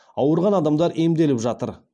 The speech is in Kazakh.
ауырған адамдар емделіп жатыр